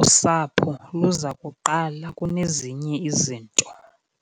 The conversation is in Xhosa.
usapho luza kuqala kunezinye izinto.